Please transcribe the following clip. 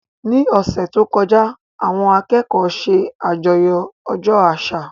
Ní ọ̀sẹ̀ tó kọjá, àwọn akẹ́kọ̀ọ́ ṣe àjọyọ̀ ọjọ́ àṣà